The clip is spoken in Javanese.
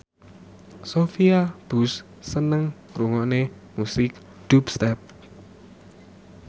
Sophia Bush seneng ngrungokne musik dubstep